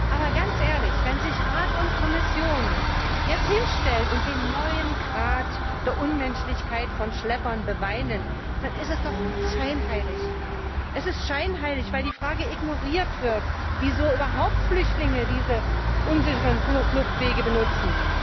Aber ganz ehrlich, wenn sich Rat und Kommission jetzt hinstellen und den neuen Grad der Unmenschlichkeit von Schleppern beweinen, dann ist es doch scheinheilig. Es ist scheinheilig, weil die Frage ignoriert wird, wieso überhaupt Flüchtlinge diese unsicheren Fluchtwege benutzen.